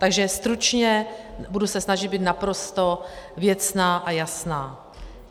Takže stručně, budu se snažit být naprosto věcná a jasná.